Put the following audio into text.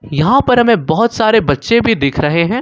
यहां पर हमें बहुत सारे बच्चे भी दिख रहे हैं।